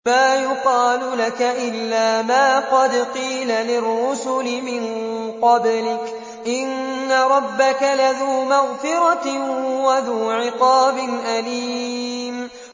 مَّا يُقَالُ لَكَ إِلَّا مَا قَدْ قِيلَ لِلرُّسُلِ مِن قَبْلِكَ ۚ إِنَّ رَبَّكَ لَذُو مَغْفِرَةٍ وَذُو عِقَابٍ أَلِيمٍ